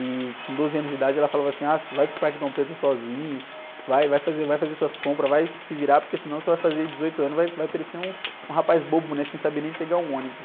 E com doze anos de idade ela falava assim, ah, você vai para o Parque Dom Pedro sozinho, vai, vai fazer, vai fazer suas compras, vai se virar, porque senão você vai fazer dezoito anos e vai, vai parecer um, um rapaz bobo, né? Sem saber nem pegar um ônibus.